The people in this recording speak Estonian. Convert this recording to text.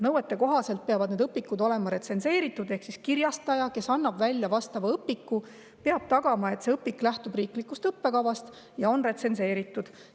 Nõuete kohaselt peavad need õpikud olema retsenseeritud ehk kirjastaja, kes annab välja vastava õpiku, peab tagama, et see õpik lähtub riiklikust õppekavast ja on retsenseeritud.